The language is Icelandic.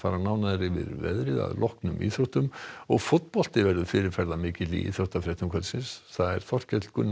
nánar yfir veðrið að loknum íþróttum og fótbolti verður fyrirferðamikill í íþróttafréttum kvöldsins það er Þorkell Gunnar